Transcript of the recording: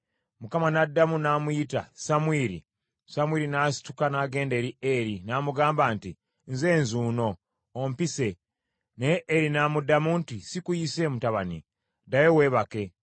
Mukama n’addamu n’amuyita, “Samwiri!” Samwiri n’asituka n’agenda eri Eri, n’amugamba nti, “Nze nzuuno, ompise.” Naye Eri n’amuddamu nti, “Sikuyise, mutabani, ddayo weebake.”